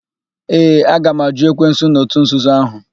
Ee, aga m àjụ́ ekwensu na òtù nzuzo ahụ.